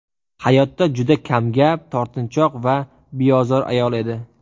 Hayotda juda kamgap, tortinchoq va beozor ayol edi.